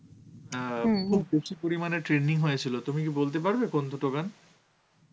অ্যাঁ খুব বেশি পরিমাণে trending হয়েছিল, তুমি কি বলতে পারবে কোন দুটো গান?